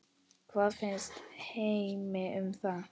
Hvað finnst Heimi um það?